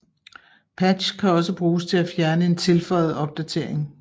Patch kan også bruges til at fjerne en tilføjet opdatering